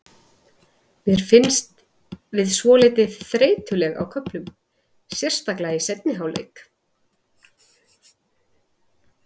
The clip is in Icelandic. Mér fannst við svolítið þreytulegir á köflum, sérstaklega í seinni hálfleik.